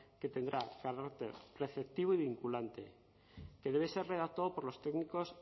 que tendrá carácter preceptivo y vinculante que debe ser redactado por los técnicos